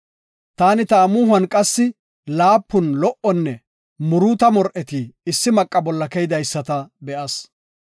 “Taani ta amuhuwan qassi laapun lo77onne muruuta mor7eti issi maqa bolla keydaysata be7as.